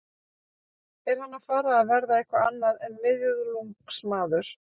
Er hann að fara að verða eitthvað annað en miðlungsmaður?